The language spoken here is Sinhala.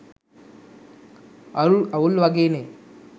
අවුල් වගේ නේ.